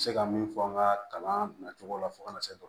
N bɛ se ka min fɔ an ka kalan na cogow la fo ka na se